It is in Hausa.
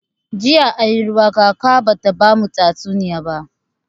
Jiya anyi ruwa kaka bata bamu tatsuniya ba.